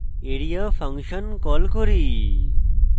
area function call করি